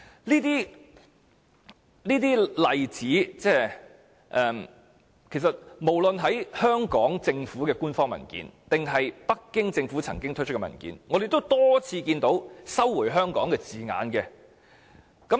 就上述的例子，無論是香港政府的官方文件，還是北京政府曾經發出的文件，我們也多次看到"收回香港"的字眼。